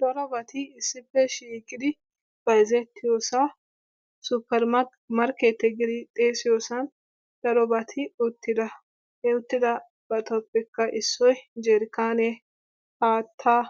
coraabati issippe shiiqidi bayzzettiyoosan suppermarketiyaa giidi xeessiyoosan darobati uttida. he uttidabatuppekke issoy jarkkanne haattaa